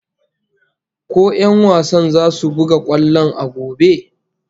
Ko 'yan wasan zasu buga kwallon a gobe?